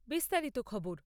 বিস্তারিত খবর